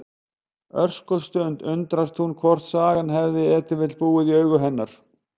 Örskotsstund undrast hún hvort sagan hafi ef til vill búið í augum hennar.